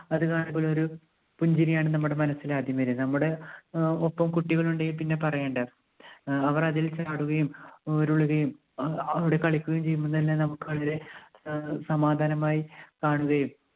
അത് കാണുമ്പോൾ ഒരു പുഞ്ചിരിയാണ് നമ്മുടെ മനസ്സിൽ ആദ്യം വരുക. നമ്മുടെ ആഹ് ഒപ്പം കുട്ടികൾ ഉണ്ടെങ്കിൽ പിന്നെ പറയേണ്ട. ആഹ് അവർ അതിൽ ചാടുകയും ഉരുളുകയും അവ~അവിടെ കളിക്കുകയും ചെയ്യുമ്പോൾ തന്നെ നമുക്ക് അത് സ~സമാധാനമായി കാണുകയും